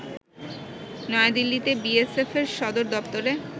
নয়া দিল্লিতে বিএসএফ এর সদরদপ্তরে